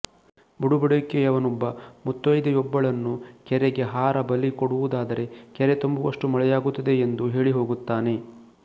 ಬುಡಬಡಿಕೆಯವನೊಬ್ಬ ಮುತ್ತೈದೆಯೊಬ್ಬಳನ್ನು ಕೆರೆಗೆ ಹಾರ ಬಲಿ ಕೊಡುವುದಾದರೆ ಕೆರೆ ತುಂಬುವಷ್ಟು ಮಳೆಯಾಗುತ್ತದೆ ಎಂದು ಹೇಳಿ ಹೋಗುತ್ತಾನೆ